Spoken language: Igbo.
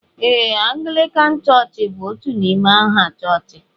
Ee, Anglican church bú otú n'ime aha chọchị